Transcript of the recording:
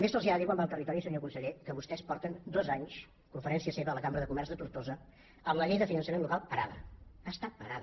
també se’ls ha de dir quan va al territori senyor conseller que vostès porten dos anys conferència seva a la cambra de comerç de tortosa amb la llei de finançament local parada està parada